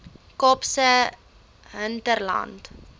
kaapse hinterland